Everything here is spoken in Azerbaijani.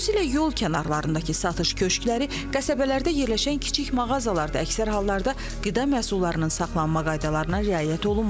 Xüsusilə yol kənarındakı satış köşkləri, qəsəbələrdə yerləşən kiçik mağazalarda əksər hallarda qida məhsullarının saxlanma qaydalarına riayət olunmur.